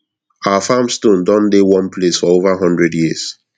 our farm stone don dey one place for over hundred years